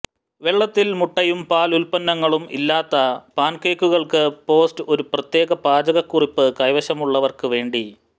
വെള്ളത്തിൽ മുട്ടയും പാൽ ഉൽപന്നങ്ങളും ഇല്ലാതെ പാൻകേക്കുകൾക്ക് പോസ്റ്റ് ഒരു പ്രത്യേക പാചകക്കുറിപ്പ് കൈവശമുള്ളവർക്ക് വേണ്ടി